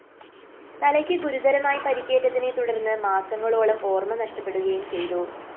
തലയ്ക്ക് ഗുരുതരമായി പരിക്കേറ്റതിനെ തുടര്‍ന്ന് മാസങ്ങളോളം ഓര്‍മ നഷ്ടപ്പെടുകയും ചെയ്തു